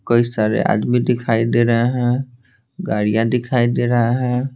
कई सारे आदमी दिखाई दे रहे हैं गाड़ियां दिखाई दे रहा है।